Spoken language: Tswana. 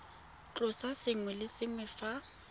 tlosa sengwe le sengwe fa